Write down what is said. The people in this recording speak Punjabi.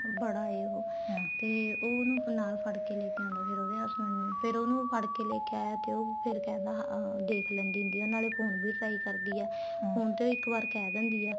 ਬੜਾ ਏ ਹੋ ਤੇ ਉਹਨੂੰ ਨਾਲ ਫੜਕੇ ਲੈਕੇ ਆਉਦਾ ਫ਼ੇਰ ਉਹਦੇ husband ਨੂੰ ਫ਼ੇਰ ਉਹਨੂੰ ਫੜਕੇ ਲੈਕੇ ਆਇਆ ਤੇ ਫ਼ੇਰ ਉਹ ਕਹਿੰਦਾ ਹਾਂ ਹਾਂ ਦੇਖ ਲੈਂਦੀ ਹੁੰਦੀ ਏ ਨਾਲੋਂ phone ਵੀ try ਕਰਦੀ ਏ ਹੁਣ ਤੇ ਉਹ ਇੱਕ ਵਾਰ ਕਹਿ ਦਿੰਦੀ ਆ